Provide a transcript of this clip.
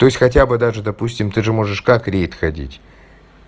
то есть хотя бы даже допустим ты же можешь как рейд ходить